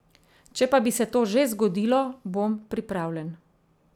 Če pa bi se to že zgodilo, bom pripravljen.